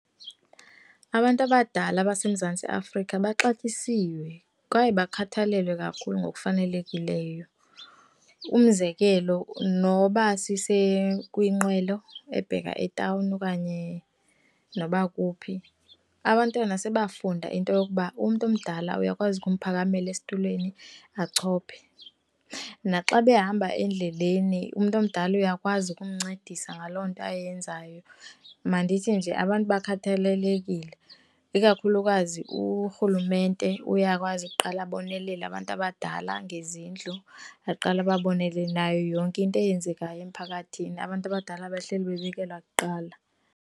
Abantu abadala abaseMzantsi Afrika baxatyisiwe kwaye bakhathalelwe kakhulu ngokufanelekileyo. Umzekelo, noba kwinqwelo ebheka etawuni okanye noba kuphi, abantwana sebafunda into yokuba umntu omdala uyakwazi umphakamela esitulweni achophe. Naxa behamba endleleni umntu omdala uyakwazi ukumncedisa ngaloo nto ayenzayo. Mandithi nje abantu bakhathalelekile, ikakhulukazi urhulumente uyakwazi ukuqala abonelele abantu abadala ngezindlu, aqale ababonelele nayo yonke into eyenzekayo emphakathini, abantu abadala bahleli bebekelwa kuqala.